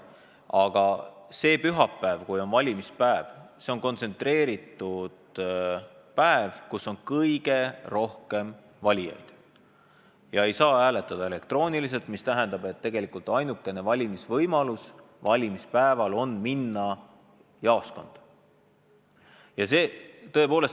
Aga see pühapäevane valimispäev on kontsentreeritud päev, kui valijaid on kõige rohkem ja elektrooniliselt hääletada ei saa, mis tähendab, et ainukene võimalus valida on minna jaoskonda.